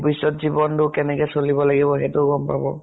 ভৱিষ্যত জীৱন টোত কেনেকে চলিব লাগিব সেইটো গম পাব।